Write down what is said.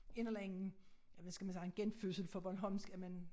En eller anden ja hvad skal man sige en genfødsel for bornholmsk at man